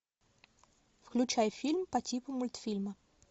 включай фильм по типу мультфильма